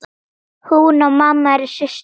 Hún og mamma eru systur.